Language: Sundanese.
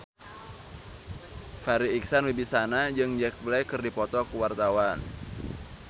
Farri Icksan Wibisana jeung Jack Black keur dipoto ku wartawan